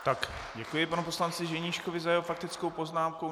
Tak, děkuji panu poslanci Ženíškovi za jeho faktickou poznámku.